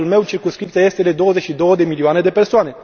În cazul meu, circumscripția este de 22 de milioane de persoane.